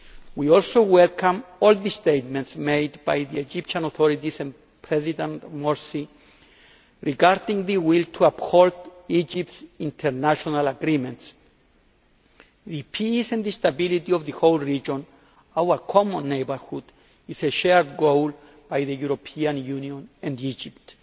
We also welcome all the statements made by the Egyptian authorities and President Morsi regarding their will to uphold Egypt's international agreements. The peace and stability of the whole region, our common neighbourhood, is a shared goal by the European Union and Egypt.